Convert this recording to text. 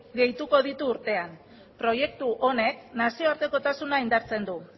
gehituko ditu urtean proiektu honek nazioartekotasuna indartzen du